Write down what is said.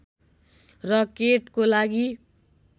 र केटको लागि